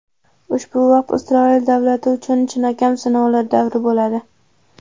Ushbu vaqt Isroil davlati uchun chinakam sinovlar davri bo‘ladi.